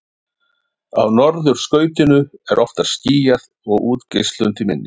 á norðurskautinu er oftar skýjað og útgeislun því minni